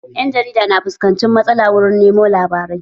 Ƴan jarida kan fuskanci matsala wurin nemo labarai